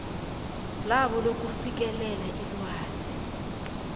labo lokufikelela ilwazi